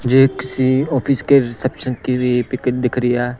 मुझे किसी ऑफिस के रिसेप्शन की पिक दिख रही है।